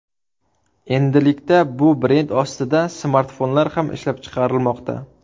Endilikda bu brend ostida smartfonlar ham ishlab chiqarilmoqda.